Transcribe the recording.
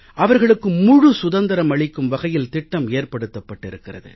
அவர்களுக்கு முழு சுதந்திரம் அளிக்கும் வகையில் திட்டம் ஏற்படுத்தப்பட்டிருக்கிறது